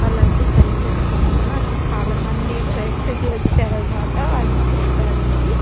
వాలందరు పెళ్లి చేసుకున్నారు అక్కడ చాలామంది ప్రేక్షకులు వచ్చారు అనమాట వాళ్ళని చూడ్డానికి.